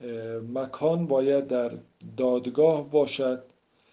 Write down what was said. боконбаева эльдар далгатов